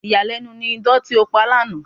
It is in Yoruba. Ìyàlẹ́nu ni idán tí ó pa lánàá.